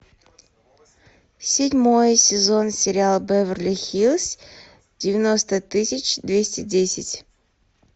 седьмой сезон сериал беверли хиллз девяносто тысяч двести десять